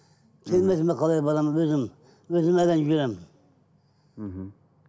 келмесе мен қалай барамын өзім өзім әрең жүремін мхм